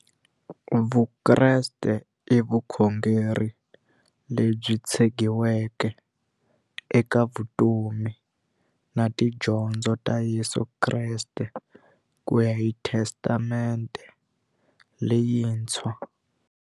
Vukreste i vukhongeri lebyi tshegiweke eka vutomi na tidyondzo ta Yesu Kreste kuya hi Testamente leyintshwa.